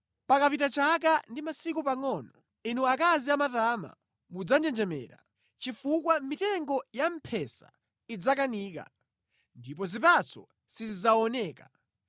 Pakapita chaka ndi masiku pangʼono inu akazi amatama mudzanjenjemera; chifukwa mitengo ya mphesa idzakanika ndipo zipatso sizidzaoneka.